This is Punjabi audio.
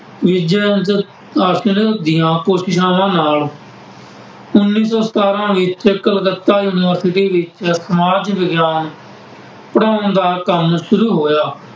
ਸਥਾਪਨ ਦੀਆਂ ਕੋਸ਼ਿਸ਼ਾਂ ਨਾਲ ਉੱਨੀ ਸੌ ਸਤਾਰਾ ਵਿੱਚ ਕਲਕੱਤਾ ਯੂਨੀਵਰਸਿਟੀ ਵਿੱਚ ਸਮਾਜ ਵਿਗਿਆਨ ਪੜ੍ਹਾਉਣ ਦਾ ਕੰਮ ਸ਼ੁਰੂ ਹੋਇਆ।